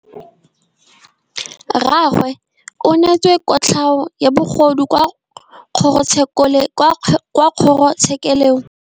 Rragwe o neetswe kotlhaô ya bogodu kwa kgoro tshêkêlông.